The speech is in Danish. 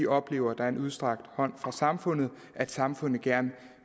oplever at der er en udstrakt hånd fra samfundet at samfundet gerne